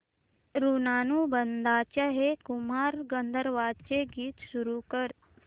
ऋणानुबंधाच्या हे कुमार गंधर्वांचे गीत सुरू कर